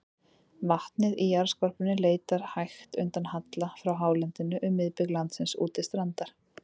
Vatnið í jarðskorpunni leitar hægt undan halla frá hálendinu um miðbik landsins út til strandar.